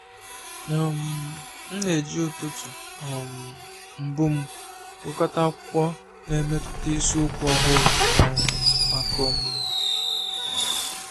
um M na-eji ụtụtụ um mbụ m gụkọta akwụkwọ na mepụta isiokwu ọhụrụ um maka ọmụmụ.